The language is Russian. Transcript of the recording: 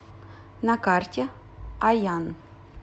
на карте аян